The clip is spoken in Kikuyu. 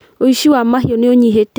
ũici wa mahiũ nĩũnyĩhĩte